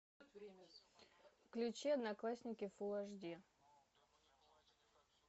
включи одноклассники фулл аш ди